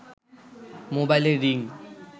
মোবাইলের রিং